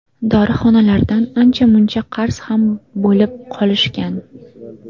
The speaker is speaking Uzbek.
Dorixonalardan ancha-muncha qarz ham bo‘lib qolishgan.